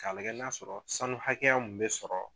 K'a lagɛ n'a sɔrɔ sanu hakɛya mun bɛ sɔrɔ